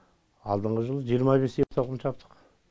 алдыңғы жылы жиырма бес ер тоқым жаптық